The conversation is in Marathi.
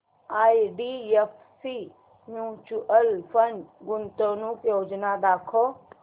आयडीएफसी म्यूचुअल फंड गुंतवणूक योजना दाखव